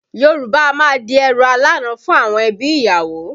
Yorùbá a máa di ẹrù alána fún àwọn ẹbí ìyàwó